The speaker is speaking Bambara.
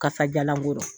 Kasajalan ko